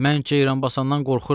“Mən Ceyranbasandan qorxuram.